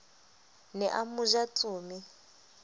ne a mo ja tsome